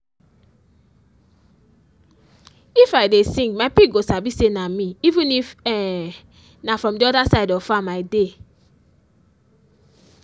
if i dey sing my pig go sabi say an meeven if um na from the other side of farm i dey.